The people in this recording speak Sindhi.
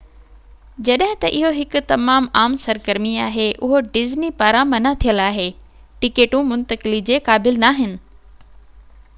جڏهن ته اهو هڪ تمام عام سرگرمي آهي اهو ڊزني پاران منع ٿيل آهي ٽڪيٽون منتقلي جي قابل ناهن